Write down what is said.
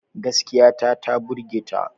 Gaskiya ta ta burge ta.